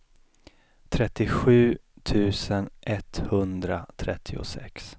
trettiosju tusen etthundratrettiosex